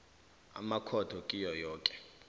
amakhotho kiwo woke